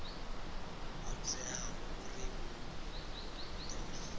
ho teaho uri hu ḓo